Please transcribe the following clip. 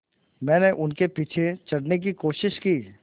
मैंने उनके पीछे चढ़ने की कोशिश की